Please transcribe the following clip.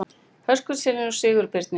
Höskuldssyni og Sigurbirni